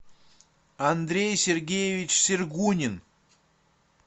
андрей сергеевич сергунин